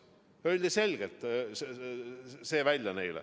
See öeldi neile selgelt välja.